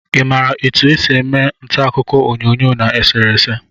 I maara etu e si eme ntaakụkọ onyoonyo na eserese?